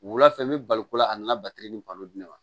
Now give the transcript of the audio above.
Wula fɛ n bɛ bali ko la a nana batiri ni balon di ne ma